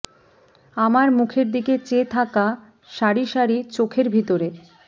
আমার মুখের দিকে চেয়ে থাকা সারি সারি চোখের ভিতরে